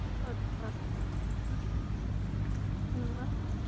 અચ્છા! હમ્મ હમ